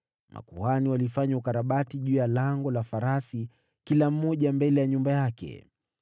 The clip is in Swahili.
Makuhani walifanya ukarabati juu ya Lango la Farasi, kila mmoja mbele ya nyumba yake.